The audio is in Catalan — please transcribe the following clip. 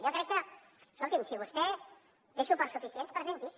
jo crec que escolti’m si vostè té suports suficients presenti’s